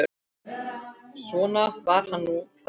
Svona var nú það.